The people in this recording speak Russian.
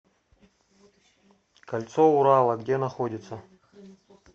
кольцо урала где находится